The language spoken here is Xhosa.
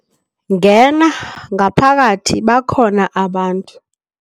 Ngena ngaphakathi bakhona abantu.